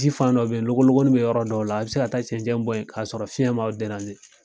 Ji fan dɔ bɛ ye logologonin bɛ yɔrɔ dɔw la a bɛ se ka taa cɛncɛn bɔn in k'a sɔrɔ fiyɛn m'aw